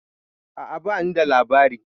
A'a ba ni da labari.